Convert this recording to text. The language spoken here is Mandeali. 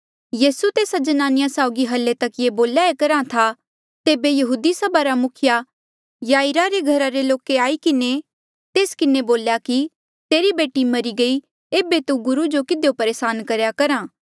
यीसू तेस्सा ज्नानिया साउगी हल्ली तक ये बोल्या ई करहा था तेबे यहूदी सभा रा मुखिया याईरा रे घरा रे लोके आई किन्हें तेस किन्हें बोल्या कि तेरी बेटी मरी गयी एेबे तू गुरु जो किधियो परेसान करेया करहा